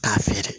K'a feere